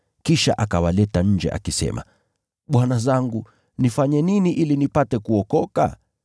Kisha akawaleta nje akisema, “Bwana zangu, nifanye nini nipate kuokoka?”